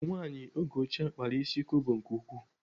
Ụmụnwaanyị n'oge ochie kpara ịsị kobo nke ukwuu.